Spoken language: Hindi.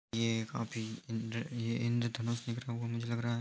ये काफी इंद्र ये इंद्रधनुष निकला हुआ मुझे लग रहा है।